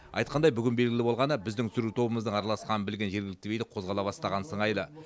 айтқандай бүгін белгілі болғаны біздің түсіру тобымыздың араласқанын білген жергілікті билік қозғала бастаған сыңайлы